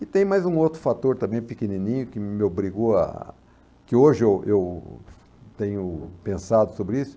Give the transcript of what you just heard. E tem mais um outro fator também pequenininho que me obrigou a... Que hoje eu eu tenho pensado sobre isso.